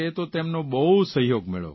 તો તેમનો બહુ સહયોગ મળ્યો